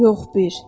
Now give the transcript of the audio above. Yox bir.